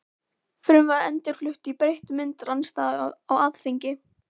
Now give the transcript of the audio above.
Frumvarpið endurflutt í breyttri mynd- Andstaða á Alþingi